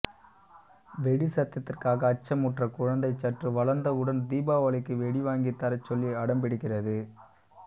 வெடிச் சத்தத்திற்க அச்சமுற்ற குழந்தை சற்று வளர்ந்தவுடன் தீபாவளிக்கு வெடி வாங்கித் தரச்சொல்லி அடம்பிடிக்கிறது